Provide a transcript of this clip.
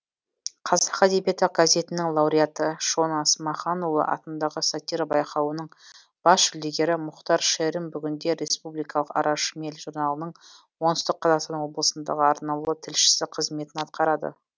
қазақ әдебиеті газетінің лауреаты шона смаханұлы атындағы сатира байқауының бас жүлдегері мұхтар шерім бүгінде республикалық ара шмель журналының оңтүстік қазақстан облысындағы арнаулы тілшісі қызметін атқарады